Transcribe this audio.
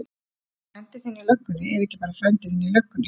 Frændi þinn í löggunni er ekki bara frændi þinn í löggunni.